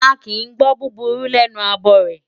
A kìí gbọ́ búburú lẹ́nu abọrẹ̀.